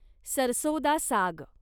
सरसों दा साग